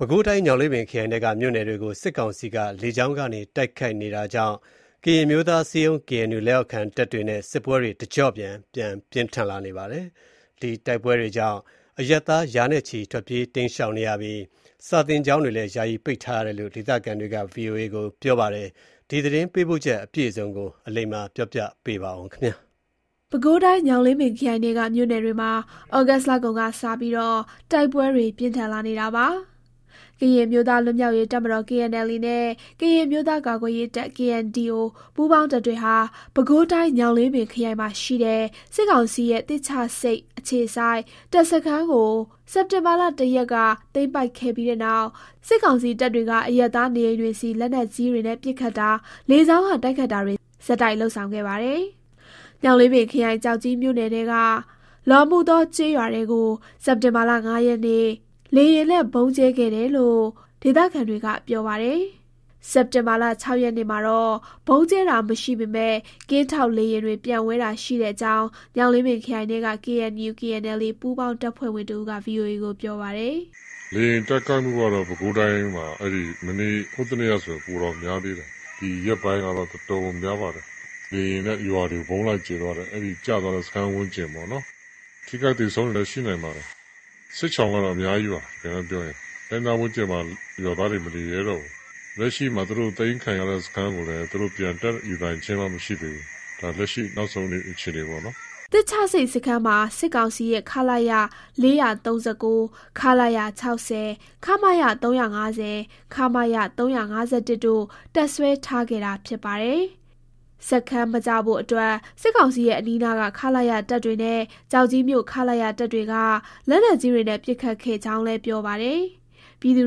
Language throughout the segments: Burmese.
ပဲခူးတိုင်း ညောင်လေးပင်ခရိုင်ထဲက မြို့နယ်တွေကို စစ်ကောင်စီက လေကြောင်းကနေ တိုက်ခိုက်နေတာကြောင့် ကရင်အမျိုးသားအစည်းအရုံး KNU လက်အောက်ခံတပ်တွေနဲ့ စစ်ပွဲတွေ တကျော့ပြန် ပြင်းထန်နေပါတယ်။ တိုက်ပွဲတွေကြောင့် အရပ်သား ရာနဲ့ချီ ထွက်ပြေး၊ တိမ်းရှောင်နေရပြီး စာသင်ကျောင်းတွေလည်း ယာယီပိတ်လိုက်ရတယ်လို့ ဒေသခံတွေက ဗွီအိုအေကို ပြောပါတယ်။ သတင်းပေးပို့ချက် အပြည့်စုံကို အလိမ္မာက တင်ပြပေးပါမယ်။ ပဲခူးတိုင်း ညောင်လေးပင်ခရိုင်ထဲက မြို့နယ်တွေမှာ ဩဂုတ်လကုန်ကစပြီး တိုက်ပွဲတွေ ပြင်းထန်လာနေတာပါ။ ကရင်အမျိုးသား လွတ်မြောက်ရေး တပ်မတော် KNLA နဲ့ ကရင်အမျိုးသား ကာကွယ်ရေးတပ် KNDO ပူးပေါင်းတပ်တွေဟာ ပဲခူးတိုင်း၊ ညောင်လေးပင် ခရိုင်မှာရှိတဲ့ စစ်ကောင်စီရဲ့ သစ်ချဆိပ် အခြေစိုက် တပ်စခန်းကို စက်တင်ဘာလ ၁ ရက်က သိမ်းပိုက်ခဲ့ပြီးတဲ့နောက် စစ်ကောင်စီတပ်တွေက အရပ်သား နေအိမ်တွေဆီ လက်နက်ကြီတွေနဲ့ ပစ်ခတ်တာ၊ လေကြောင်းက တိုက်ခိုက်တာတွေ ဆက်တိုက် လုပ်ဆောင်ခဲ့ပါတယ်။ ညောင်လေးပင်ခရိုင်၊ ကျောက်ကြီး မြို့နယ်ထဲက လော်မူသော ကျေးရွာထဲကို စက်တင်ဘာလ ၅ ရက်နေ့ လေယာဉ်နဲ့ ဗုံးကြဲခဲ့တယ်လို့ ဒေသခံတွေက ပြောပါတယ်။ စက်တင်ဘာလ ၆ ရက်မှာတော့ ဗုံးကြဲတာ မရှိပေမဲ့ ကင်းထောက်လေယာဉ်တွေ ပျံဝဲတာရှိတဲ့အကြောင်း ညောင်လေးပင်ခရိုင်ထဲက KNU/KNLA ပူးပေါင်း တပ်ဖွဲ့ဝင်တဦးက ဗွီအိုအေကို ပြောပါတယ်။ "လေယာဉ်တိုက်ခိုက်မှုက ပဲခူးတိုင်းထဲမှာ ဟိုးတနေ့ကဆို ပိုတောင်များသေးတယ်။ ဒီရက်ပိုင်းကတော့ တော်တော်ကို များပါတယ်။ လေယာဉ်နဲ့ ရွာတွေကို ဗုံးလိုက်ကြဲသွားတယ်။ အဲဒီကျသွားတဲ့ စခန်းဝန်းကျင်ပေါ့နော်။ ထိခိုက် သေဆုံးတွေလည်း ရှိနိုင်ပါတယ်။ စစ်ရှောင်ကတော့ အများကြီးပါ။ တကယ်တမ်းပြောရင် အဲ့နားဝန်းကျင်မှာ ရွာသားတွေ မနေရဲတော့ဘူး။ လက်ရှိမှာ သူတို့သိမ်းခံရတဲ့ စခန်းကိုလည်း သူတို့ ပြန်တက်ယူနိုင်ခြင်းတော့ မရှိသေးဘူး။ ဒါလက်ရှိ နောက်ဆုံး အခြေအနေပေါ့နော်။" သစ်ချဆိပ်စခန်းမှာ စစ်ကောင်စီရဲ့ ခလရ-၄၃၉၊ ခလရ-၆၀၊ ခမရ-၃၅၀၊ ခမရ-၃၅၁တို့ တပ်စွဲထားခဲ့တာ ဖြစ်ပါတယ်။ စခန်း မကျဖို့အတွက် စစ်ကောင်စီရဲ့ အနီးနားက ခလရ တပ်တွေနဲ့ ကျောက်ကြီးမြို့ ခလရတပ်တွေက လက်နက်ကြီးတွေနဲ့ ပစ်ခတ်ခဲ့ကြောင်းလည်း ပြောပါတယ်။ ပြည်သူ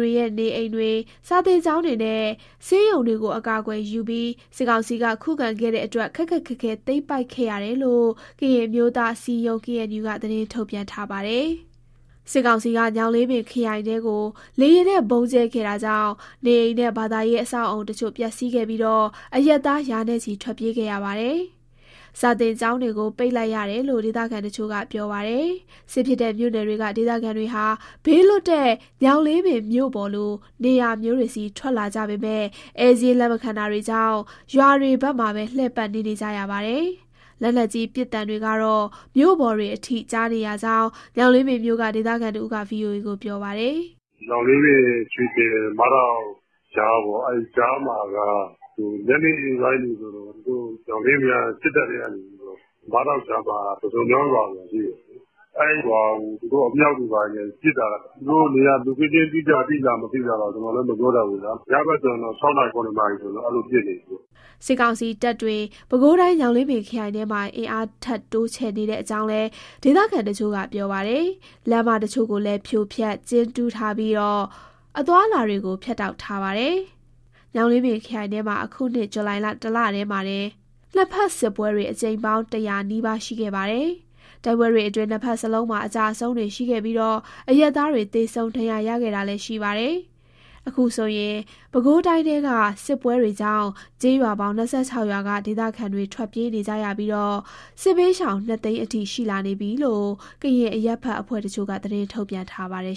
တွေရဲ့ နေအိမ်တွေ၊ စာသင်ကျောင်းတွေနဲ့ ဆေးရုံတွေကို အကာအကွယ်ယူပြီး စစ်ကောင်စီက ခုခံခဲ့တဲ့အတွက် ခက်ခက်ခဲခဲ သိမ်းပိုက်ခဲ့ရတယ်လို့ ကရင်အမျိုးသား အစည်းအရုံး KNU က သတင်းထုတ်ပြန်ထားပါတယ်။ စစ်ကောင်စီက ညောင်လေးပင်ခရိုင်ထဲကို လေယာဉ်နဲ့ ဗုံးကြဲခဲ့တာကြောင့် နေအိမ်နဲ့ ဘာသာရေး အဆောက်အအုံတချို့ ပျက်စီးပြီး အရပ်သား ရာနဲ့ချီ ထွက်ပြေးခဲ့ရပါတယ်။ စာသင်ကျောင်းတွေကိုလည်း ပိတ်လိုက်ရတယ်လို့ ဒေသခံတချို့က ပြောပါတယ်။ စစ်ဖြစ်တဲ့ မြို့နယ်တွေက ဒေသခံတွေဟာ ဘေးလွတ်တဲ့ ညောင်လေးပင်မြို့ပေါ်လို နေရာမျိုးတွေဆီ ထွက်လာကြပေမဲ့ ဧည့်စာရင်း လက်မခံတာကြောင့် ရွာတွေ ဘက်မှာပဲ လှည့်ပတ်နေ နေကြရပါတယ်။ လက်နက်ကြီး ပစ်သံတွေကတော့ မြို့ပေါ်တွေအထိ ကြားနေရကြောင်း ညောင်လေးပင်မြို့က ဒေသခံတဦးက ဗွီအိုအေကို ပြောပါတယ်။ "ညောင်လေးပင်၊ ရွှေကျင်၊ မဒေါက် ကြားပေါ့။ အဲ့ကြားမှာက ညနေပိုင်းတွေဆို ညောင်လေးပင်က စစ်တပ်ထဲကနေပြီးတော့ မဒေါက်(မြို့နယ်) ကြားမှာက ပုစွန်မြောင်းရွာဆိုတာ ရှိတယ်။ အဲဒီရွာကို သူတို့က အမြှောက်တွေ ဘာတွေနဲ့ ပစ်တာ။ သူတို့ နေရာ location အတိအကျသိလား၊ မသိလားတော့ ကျနော်လည်း မပြောတတ်ဘူး။ ညဘက်ဆို ၆ နာရီ၊ ၇ နာရီ ဆိုရင် အဲလိုတော့ ပစ်နေပြီပေါ့။" စစ်ကောင်စီတပ်တွေ ပဲခူးတိုင်း ညောင်လေးပင်ခရိုင်ထဲမှာ အင်အားထပ်တိုးချဲ့နေတဲ့အကြောင်းလည်း ဒေသခံတချို့က ပြောပါတယ်။ လမ်းမတချို့ကိုလည်း ဖြိုဖျက်၊ ကျင်းတူးထားပြီး အသွားအလာတွေကို ဖြတ်တောက်ထားပါတယ်။ ညောင်လေးပင်ခရိုင်ထဲမှာ အခုနှစ် ဇူလိုင်လ ၁ လတည်းမှာတင် နှစ်ဘက်စစ်ပွဲတွေ အကြိမ်ပေါင်း ၁၀၀ နီးပါးရှိခဲ့ပါတယ်။ တိုက်ပွဲတွေအတွင်း နှစ်ဘက်စလုံးမှာ အကျအဆုံးတွေ ရှိပြီး အရပ်သားတွေ သေဆုံး၊ ဒဏ်ရာရခဲ့တာလည်း ရှိပါတယ်။ အခုဆိုရင် ပဲခူးတိုင်းထဲက စစ်ပွဲတွေကြောင့် ကျေးရွာပေါင်း ၂၆ ရွာက ဒေသခံတွေ ထွက်ပြေးနေရပြီး စစ်ဘေးရှောင် ၂ သိန်းအထိ ရှိလာနေပြီလို့ ကရင်အရပ်ဘက်အဖွဲ့တချို့က သတင်း ထုတ်ပြန်ထားပါတယ်